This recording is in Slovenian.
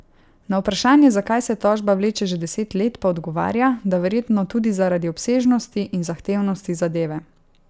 Na vprašanje, zakaj se tožba vleče že deset let, pa odgovarja, da verjetno tudi zaradi obsežnosti in zahtevnosti zadeve.